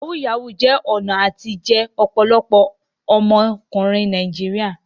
Yahoo yahoo ní ọ̀nà àtijẹ ọ̀pọ̀lọpọ̀ àwọn ọmọkùnrin Nàìjíríà.